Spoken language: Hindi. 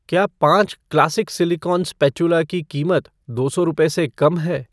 क्या पाँच क्लासिक सिलिकॉन स्पैटूला की कीमत दो सौ रुपए से कम है?